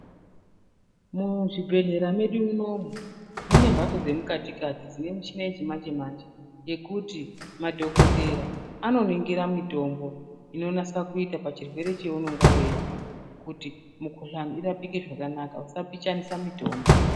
Muzvibhedhlera mwedu munomu mune mbatso dzemukati kati dzine mishina yechimanje manje ngekuti madhokodhera anoningira mitombo inonatsa kuita pachirwere chaunenge weizwa kuti mikhuhlani irapike zvakanaka usapixhanisa mitombo.